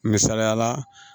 Misaliyala